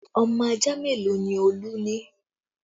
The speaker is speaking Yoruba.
Ọmọ ajá mélòó ni Olú ni